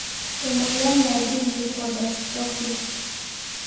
Emoyian naji leukodystrophies.